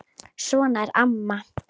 Svona er amma.